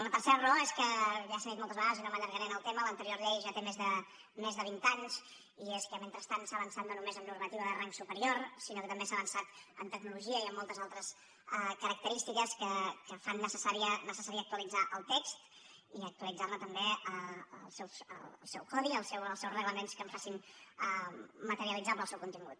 la tercera raó és que ja s’ha dit moltes vegades i no m’allargaré en el tema l’anterior llei ja té més de vint anys i és que mentrestant s’ha avançat no només en normativa de rang superior sinó que també s’ha avançat en tecnologia i en moltes altres característiques que fan necessari actualitzar el text i actualitzar ne també el seu codi i els seus reglaments que en facin materialitzable el seu contingut